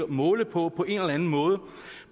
måle på på en eller anden måde